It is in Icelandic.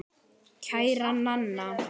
Kæra Nanna.